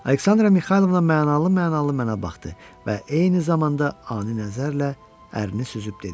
Aleksandra Mixaylovna mənalı-mənalı mənə baxdı və eyni zamanda ani nəzərlə ərini süzüb dedi: